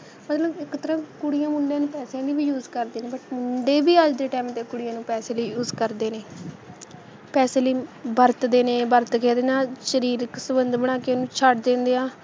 ਮਤਲਬ ਇੱਕ ਤਰ੍ਹਾਂ ਕੁੜੀਆਂ ਮੁੰਡਿਆਂ ਨੂੰ ਪੈਸਿਆਂ ਲਈ ਵੀ use ਕਰਦੀਆਂ ਨੇ, ਪਰ ਮੁੰਡੇ ਵੀ ਅੱਜ ਦੇ time 'ਤੇ ਕੁੜੀਆਂ ਨੂੰ ਪੈਸੇ ਲਈ use ਕਰਦੇ ਨੇ ਪੈਸੇ ਲਈ ਵਰਤਦੇ ਨੇ, ਵਰਤ ਕੇ ਉਹਦੇ ਨਾਲ ਸ਼ਰੀਰਿਕ ਸੰਬੰਧ ਬਣਾ ਕੇ ਉਹਨੂੰ ਛੱਡ ਦਿੰਦੇ ਆ,